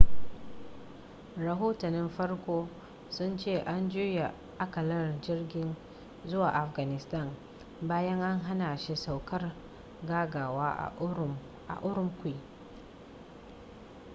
rahotannin farko sun ce an juya akalar jirgin zuwa afghanistan bayan an hana shi saukar gaggawa a ürümqi